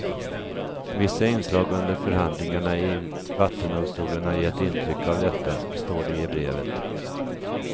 Vissa inslag under förhandlingarna i vattendomstolen har gett intryck av detta, står det i brevet.